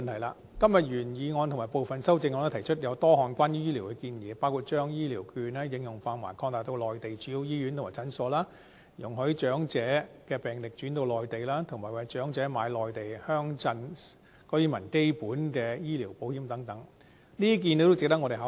今天的原議案和部分修正案也提出多項關於醫療的建議，包括把醫療券的應用範圍擴大至內地主要醫院及診所，容許長者的病歷轉到內地，以及為長者購買內地鄉鎮居民基本的醫療保險等，這些建議也值得我們考慮。